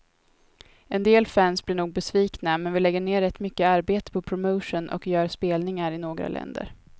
En del fans blir nog besvikna, men vi lägger ner rätt mycket arbete på promotion och gör spelningar i några länder.